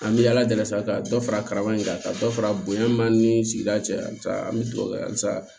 An bɛ ala deli sa ka dɔ fara man ɲi kan ka dɔ fara bonya ma ni sigida cɛ halisa an bɛ dugawu kɛ halisa